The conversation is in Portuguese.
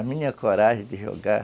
A minha coragem de jogar...